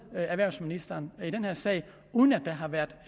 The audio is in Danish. erhvervsministeren i den her sag uden at der har været